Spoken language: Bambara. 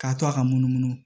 K'a to a ka munumunu